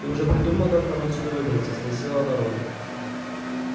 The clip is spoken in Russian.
ты уже придумал как нам отсюда выбраться спросила она рона